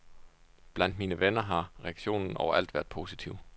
Blandt mine venner har reaktionen overalt været positiv.